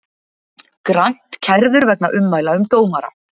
Grant kærður vegna ummæla um dómara